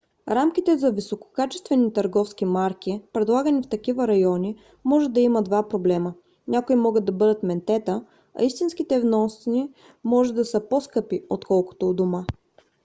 рамките за висококачествени търговски марки предлагани в такива райони може да имат два проблема: някои могат да бъдат ментета а истинските вносни може да са по - скъпи отколкото у дома